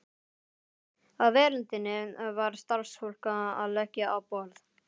Á veröndinni var starfsfólk að leggja á borð.